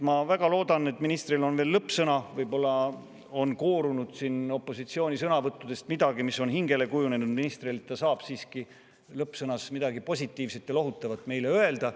Ma väga loodan, et nüüd, kui ministril on veel lõppsõna, siis võib-olla on koorunud siin opositsiooni sõnavõttudest midagi, mis on hingele jäänud, ja ehk ta saab siiski lõppsõnas meile midagi positiivset ja lohutavat öelda.